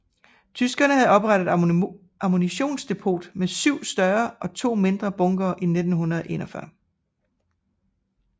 Tyskerne havde oprettet et ammunitionsdepot med 7 større og 2 mindre bunkere i 1941